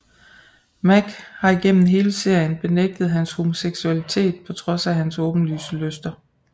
Mac har igennem hele serien benægtet hans homoseksualitet på trods af hans åbenlyse lyster